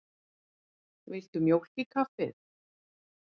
Viltu mjólk í kaffið?